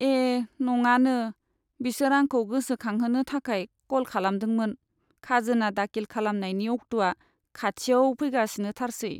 ए नङानो! बिसोर आंखौ गोसोखांहोनो थाखाय कल खालामदोंमोन खाजोना दाखिल खालामनायनि अक्टआ खाथियाव फैगासिनोथारसै।